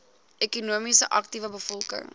ekonomies aktiewe bevolking